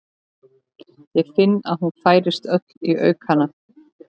Ég finn að hún færist öll í aukana.